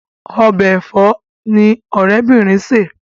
Ọbẹ̀ ẹ̀fọ́ ni ọ̀rẹ́ obinrin sè.